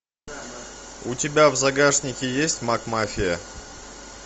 у тебя в загашнике есть макмафия